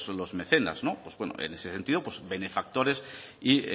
los mecenas pues en ese sentido benefactores y